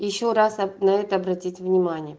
ещё раз на это обратить внимание